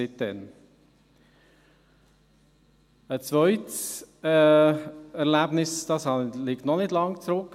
Ein zweites Erlebnis liegt noch nicht lange zurück.